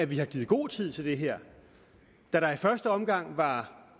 vi har givet god tid til det her da der i første omgang var